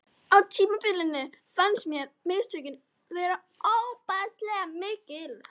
Á tímabili fannst mér misnotkunin vera ofboðslega mikil.